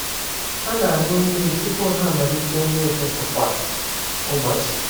Ha na-aṅụ mmiri tupu ha amalite nri ụtụtụ kwa ụbọchị.